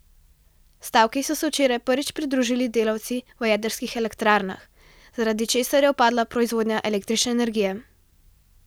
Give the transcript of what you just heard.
Stavki so se včeraj prvič pridružili delavci v jedrskih elektrarnah, zaradi česar je upadla proizvodnja električne energije.